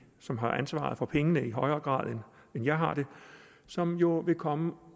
som har ansvaret for pengene i højere grad end jeg har det som jo vil komme